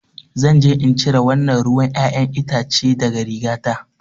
Zan je in cire wannan ruwan ƴaƴan itace daga rigata.